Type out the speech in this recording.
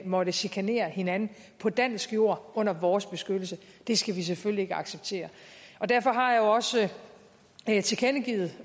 måtte chikanere hinanden på dansk jord under vores beskyttelse det skal vi selvfølgelig ikke acceptere derfor har jeg jo også tilkendegivet